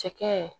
Cɛkɛ